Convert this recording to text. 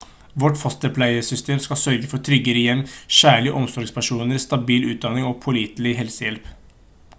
vårt fosterpleiesystem skal sørge for trygge hjem kjærlige omsorgspersoner stabil utdanning og pålitelig helsehjelp